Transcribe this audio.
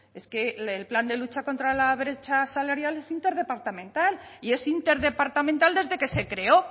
es que el plan de lucha contra la brecha salarial es interdepartamental y es interdepartamental desde que se creó